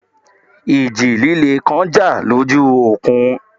Ìjì líle kan jà lójú òkun